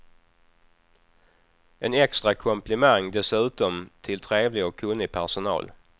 En extra komplimang dessutom till trevlig och kunnig personal.